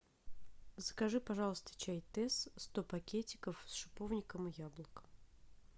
закажи пожалуйста чай тесс сто пакетиков с шиповником и яблоком